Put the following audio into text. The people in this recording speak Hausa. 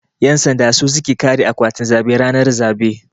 Yan sanda su suke kare akwatin zabe ranar zabe.